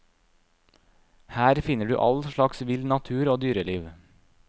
Her finner du all slags vill natur og dyreliv.